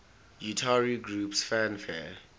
utari groups fanfare